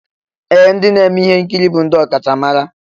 Ee! Ndị na-eme ihe nkiri bụ ndị ọkachamara.